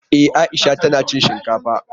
E, Aisha tana cin shinkafa.